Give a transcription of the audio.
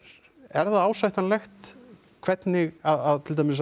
er það ásættanlegt hvernig að til dæmis